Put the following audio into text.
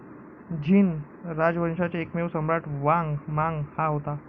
झीन राजवंशाचा एकमेव सम्राट वांग मांग हा होता.